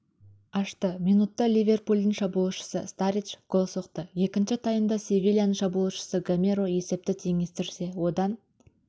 ашты минутта ливерпульдің шабуылшысы старридж гол соқты екінші таймда севильяның шабуылшысы гамерро есепті теңестірсе одан